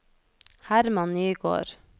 Hermann Nygård